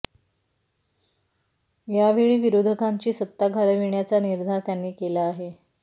या वेळी विरोधकांची सत्ता घालविण्याचा निर्धार त्यांनी केला आहे